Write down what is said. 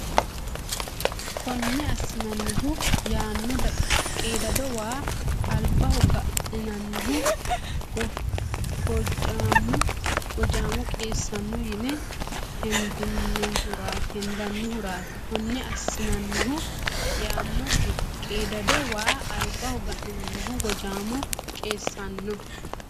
Konne assinannihu yaano qiidado waa albaho ga ninannihu gojaamo qiissanno yine hendannihuraati Konne assinannihu yaano qiidado waa albaho ga ninannihu gojaamo qiissanno.